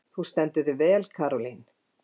Þú stendur þig vel, Karólín!